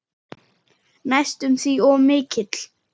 Næstum því of mikill.